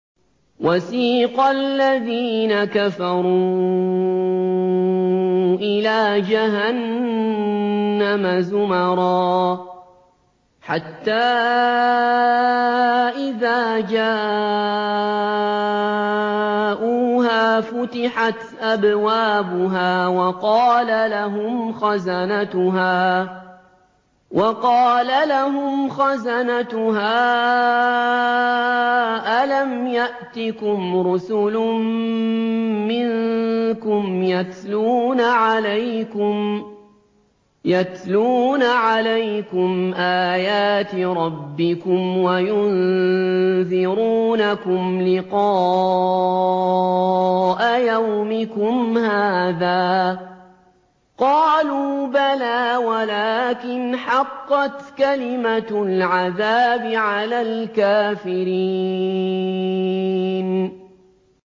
وَسِيقَ الَّذِينَ كَفَرُوا إِلَىٰ جَهَنَّمَ زُمَرًا ۖ حَتَّىٰ إِذَا جَاءُوهَا فُتِحَتْ أَبْوَابُهَا وَقَالَ لَهُمْ خَزَنَتُهَا أَلَمْ يَأْتِكُمْ رُسُلٌ مِّنكُمْ يَتْلُونَ عَلَيْكُمْ آيَاتِ رَبِّكُمْ وَيُنذِرُونَكُمْ لِقَاءَ يَوْمِكُمْ هَٰذَا ۚ قَالُوا بَلَىٰ وَلَٰكِنْ حَقَّتْ كَلِمَةُ الْعَذَابِ عَلَى الْكَافِرِينَ